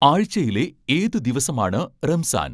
ആഴ്ചയിലെ ഏത് ദിവസമാണ് റംസാൻ